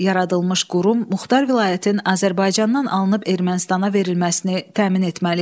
Yaradılmış qurum muxtar vilayətin Azərbaycandan alınıb Ermənistana verilməsini təmin etməli idi.